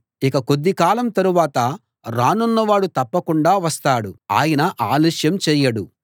ఇక కొద్ది కాలం తరువాత రానున్న వాడు తప్పకుండా వస్తాడు ఆయన ఆలస్యం చేయడు